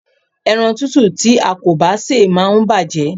Ẹran tútù tí a kò bá sè máa ń bàjé.